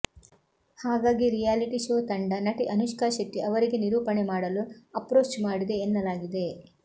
ಹಾಗಾಗಿ reality show ತಂಡ ನಟಿ ಅನುಷ್ಕಾ ಶೆಟ್ಟಿ ಅವರಿಗೆ ನಿರೂಪಣೆ ಮಾಡಲು ಅಪ್ರೋಚ್ ಮಾಡಿದೆ ಎನ್ನಲಾಗಿದೆ